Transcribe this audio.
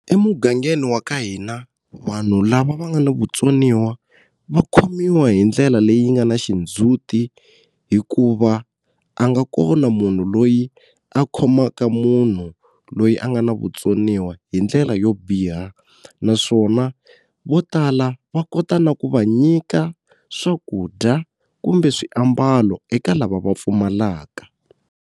Emugangeni wa ka hina vanhu lava va nga na vutsoniwa va khomiwa hi ndlela leyi nga na xindzuti hikuva a nga kona munhu loyi a khomaka munhu loyi a nga na vutsoniwa hi ndlela yo biha naswona vo tala va kota na ku va nyika swakudya kumbe swiambalo eka lava va pfumalaka.